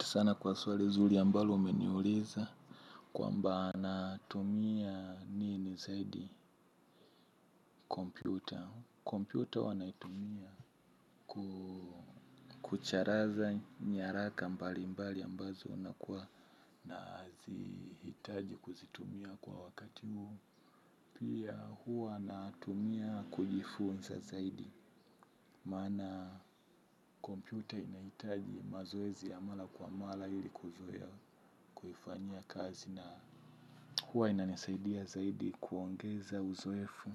Sana kwa swali zuli ambalo umeniuliza kwamba natumia nini zaidi kompyuta. Kompyuta huwa naitumia kucharaza nyaraka mbalimbali ambazo nakua nazihitaji kuzitumia kwa wakati huu. Pia huwa natumia kujifunsa zaidi. Maana kompyuta inahitaji mazoezi ya mala kwa mala ili kuzoea kuifanyia kazi na huwa inanisaidia zaidi kuongeza uzoefu